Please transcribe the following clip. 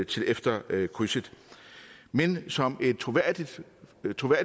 til efter krydset men som et troværdigt